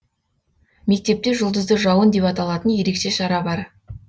мектепте жұлдызды жауын деп аталатын ерекше шара бар